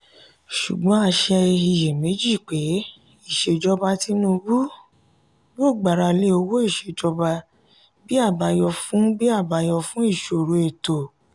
sùgbón a ṣe iyèméjì pé ìṣèjọba tinubu yóò gbara lé owó ìṣèjọba bí abayọ fún bí abayọ fún ìṣòro ètò.